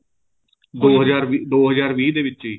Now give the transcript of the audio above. ਦੋ ਹਜ਼ਾਰ ਦੋ ਹਜ਼ਾਰ ਵੀਹ ਦੇ ਵਿੱਚ ਹੀ